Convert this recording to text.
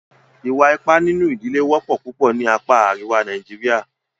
Ìwà ipá nínú ìdílé wọ́pọ̀ púpọ̀ ní apá àríwá Nàìjíríà.